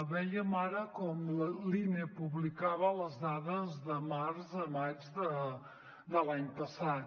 vèiem ara com l’ine publicava les dades de març a maig de l’any passat